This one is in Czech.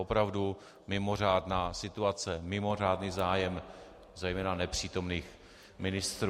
Opravdu mimořádná situace, mimořádný zájem, zejména nepřítomných ministrů.